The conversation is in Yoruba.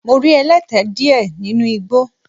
Mo rí ẹlẹ́tẹ díẹ̀ nínu igbó.